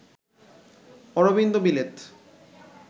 Aurobindo বিলেত